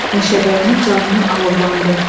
Meşəbəyinin canını alovlandı.